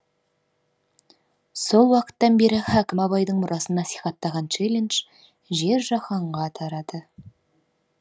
сол уақыттан бері хакім абайдың мұрасын насихаттаған челлендж жер жаһанға тарады